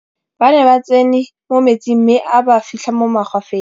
ba ne ba tsene mo metsing mme a ba fitlha mo magwafeng